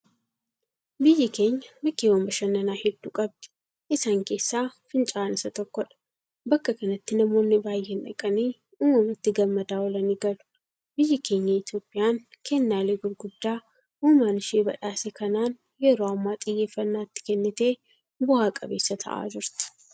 Biyyi keenya bakkeewwan bashannanaa hedduu qabdi. Isaan keessaa fincaa'aan isa tokkodha. Bakka kanatti namoonni baay'een dhaqanii uumamatti gammadaa oolanii galu. Biyyi keenya Itoophiyaan kennaalee gurguddaa uumaan ishee badhaasa kanaan yeroo ammaa xiyyeeffannaa itti kennitee bu'a qabeessa ta'aa jirti.